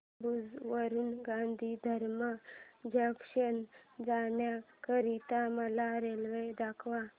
भुज वरून गांधीधाम जंक्शन जाण्या करीता मला रेल्वे दाखवा